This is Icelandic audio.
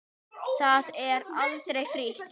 Það er aldrei frí.